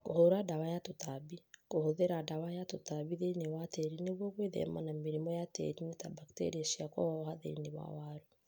Kũhũra ndawa ya tũtambi. Kũhũthĩra ndawa ya tũtambi thĩinĩ wa tĩri nĩguo gwĩthema na mĩrimũ ya tĩriinĩ ta bakteria cia kũhoha thĩinĩ wa waru